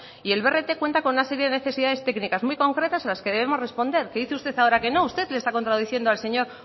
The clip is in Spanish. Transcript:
y el brt cuenta con una serie de necesidades técnicas muy concretas a las que debemos responder que dice usted ahora que no usted le está contradiciendo al señor